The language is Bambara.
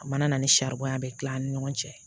A mana na ni saribɔn ye a bɛ kila an ni ɲɔgɔn cɛ